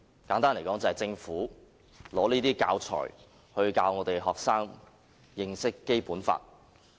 簡單來說，就是政府拿這些教材教學生認識《基本法》。